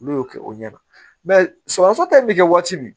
N'u y'o kɛ o ɲɛna sɔgɔsɔgɔ ta in bɛ kɛ waati min